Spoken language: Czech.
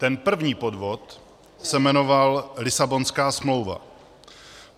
Ten první podvod se jmenoval Lisabonská smlouva.